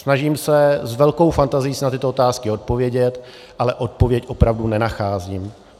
Snažím se s velkou fantazií na tyto otázky odpovědět, ale odpověď opravdu nenacházím.